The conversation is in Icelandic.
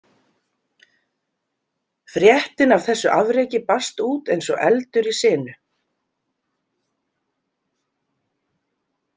Fréttin af þessu afreki barst út eins og eldur í sinu.